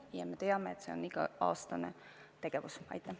Ja me teame, et see on iga-aastane ettevõtmine.